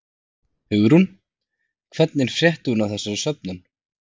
Hugrún: Hvernig frétti hún af þessari söfnun?